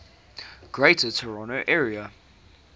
greater toronto area